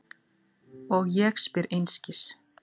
Og ég spyr einskis.